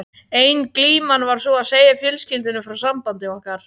Ein glíman var sú að segja fjölskyldunni frá sambandi okkar.